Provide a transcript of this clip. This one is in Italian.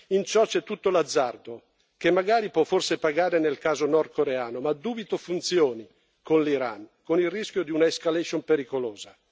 In ciò c'è tutto l'azzardo, che magari può forse pagare nel caso nordcoreano, ma dubito funzioni con l'Iran, con il rischio di una escalation pericolosa.